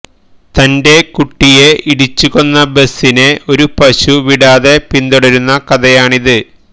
തന്റെ കുട്ടിയെ ഇടിച്ചുകൊന്ന ബസ്സിനെ ഒരു പശു വിടാതെ പിന്തുടരുന്ന കഥയാണിത്